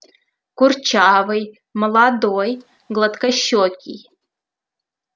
курчавый молодой гладкощёкий